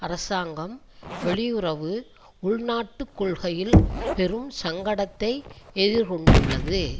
அரசாங்கம் வெளியுறவு உள்நாட்டு கொள்கையில் பெரும் சங்கடத்தை எதிர்கொண்டுள்ளது